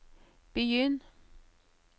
begynn